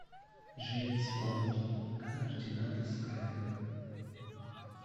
джеймс бонд координаты скайфолл